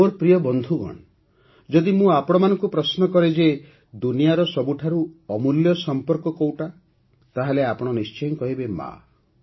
ମୋର ପ୍ରିୟ ବନ୍ଧୁଗଣ ଯଦି ମୁଁ ଆପଣଙ୍କୁ ପ୍ରଶ୍ନ କରେ ଯେ ଦୁନିଆର ସବୁଠାରୁ ଅମୂଲ୍ୟ ସମ୍ପର୍କ କେଉଁଟି ତା'ହେଲେ ଆପଣ ନିଶ୍ଚୟ କହିବେ - ମା'